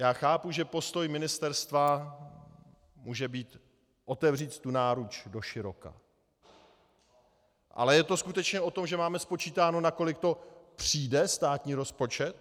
Já chápu, že postoj ministerstva může být otevřít tu náruč doširoka, ale je to skutečně o tom, že máme spočítáno, nakolik to přijde státní rozpočet?